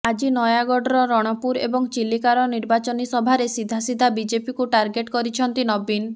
ଆଜି ନୟାଗଡର ରଣପୁର ଏବଂ ଚିଲିକାର ନିର୍ବାଚନୀ ସଭାରେ ସିଧା ସିଧା ବିଜେପିକୁ ଟାର୍ଗଟ କରିଛନ୍ତି ନବୀନ